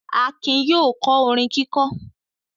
Akin yóò kọ́ orin kíkọ́.